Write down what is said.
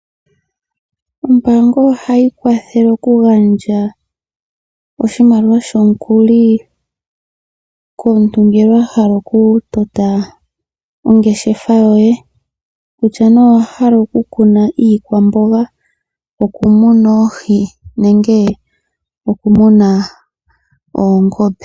Ombaanga ohayi kwathele oku gandja oshimaliwa shomukuli komuntu ngele wa hala oku tota ongeshefa yoye, kutya nee owa hala oku kuna iikwamboga, oku muna oohi nenge oku muna oongombe.